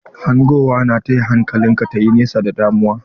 Hangowa na taya hankalin ka ta yi nesa da damuwa.